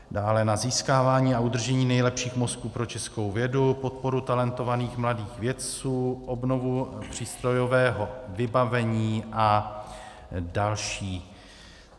Dále na získávání a udržení nejlepších mozků pro českou vědu, podporu talentovaných mladých vědců, obnovu přístrojového vybavení a další.